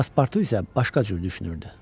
Paspartu isə başqa cür düşünürdü.